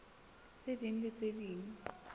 tse ding le tse ding